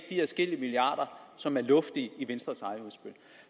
de adskillige milliarder som er luftige i venstres eget udspil